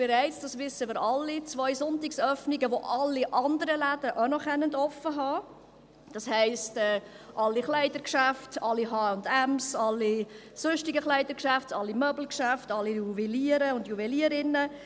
Jetzt – das wissen wir alle – gibt es im Absatz 2 bereits zwei Sonntagsöffnungen, an denen alle anderen Läden auch noch offen haben können, das heisst: alle Kleidergeschäfte, alle H&M, alle sonstigen Kleidergeschäfte, alle Möbelgeschäfte, alle Juweliere und Juwelierinnen.